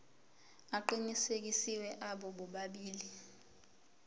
aqinisekisiwe abo bobabili